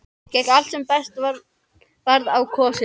Gekk allt sem best varð á kosið.